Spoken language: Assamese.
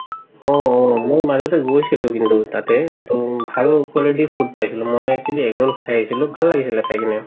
অ অ মওঁ মাজতে গৈছিলো কিন্তু তাতে ভাল quality food পাইছিলো মই actually egg roll খাই আহিছিলো ভাল লাগিছিলে খাই কিনে